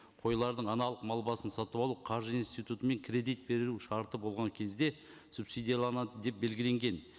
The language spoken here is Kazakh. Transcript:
қойлардың аналық мал басын сатып алу қаржы институтымен кредит беру шарты болған кезде субсидияланады деп белгіленген